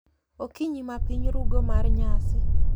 Okinyi ma piny rugo mar nyasi.